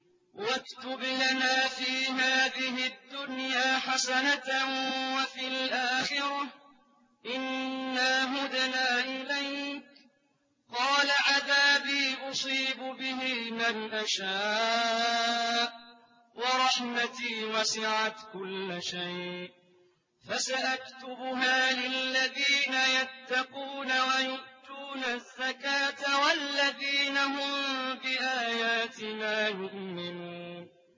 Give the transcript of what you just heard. ۞ وَاكْتُبْ لَنَا فِي هَٰذِهِ الدُّنْيَا حَسَنَةً وَفِي الْآخِرَةِ إِنَّا هُدْنَا إِلَيْكَ ۚ قَالَ عَذَابِي أُصِيبُ بِهِ مَنْ أَشَاءُ ۖ وَرَحْمَتِي وَسِعَتْ كُلَّ شَيْءٍ ۚ فَسَأَكْتُبُهَا لِلَّذِينَ يَتَّقُونَ وَيُؤْتُونَ الزَّكَاةَ وَالَّذِينَ هُم بِآيَاتِنَا يُؤْمِنُونَ